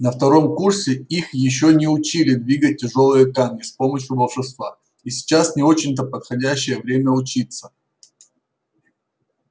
на втором курсе их ещё не учили двигать тяжёлые камни с помощью волшебства и сейчас не очень-то подходящее время учиться